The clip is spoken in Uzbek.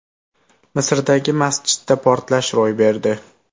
Misrdagi masjidda portlash ro‘y berdi.